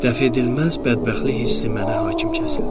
Dəf edilməz bədbəxtlik hissi mənə hakim kəsildi.